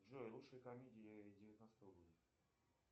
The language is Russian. джой лучшие комедии девятнадцатого года